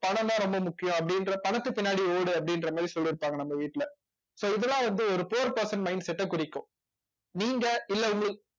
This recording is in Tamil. பணம்தான் ரொம்ப முக்கியம் அப்படின்ற பணத்தை பின்னாடி ஓடு அப்படின்ற மாதிரி சொல்லி இருப்பாங்க நம்ம வீட்டுல so இதெல்லாம் வந்து ஒரு poor person mindset அ குறிக்கும் நீங்க இல்ல உங்க